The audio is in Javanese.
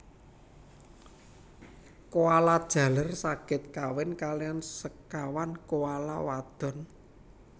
Koala jaler saged kawin kaliyan sekawan koala wadon